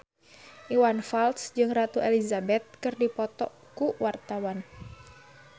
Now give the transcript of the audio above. Iwan Fals jeung Ratu Elizabeth keur dipoto ku wartawan